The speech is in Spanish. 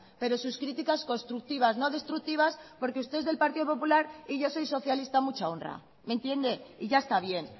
pero sus críticas constructivas no destructivas porque usted es del partido popular y yo soy socialista a mucha honra me entiende y ya está bien